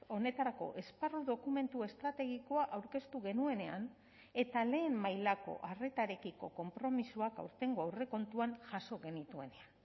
honetarako esparru dokumentu estrategikoa aurkeztu genuenean eta lehen mailako arretarekiko konpromisoak aurtengo aurrekontuan jaso genituenean